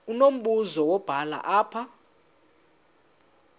unombuzo wubhale apha